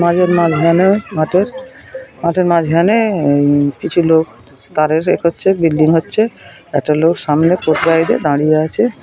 মাঝের মাঝখানে মাঠের মাঠের মাঝখানে উম কিছু লোক আছে বিল্ডিং হচ্ছে একটা লোক সামনে মেরে দাঁড়িয়ে আছে ।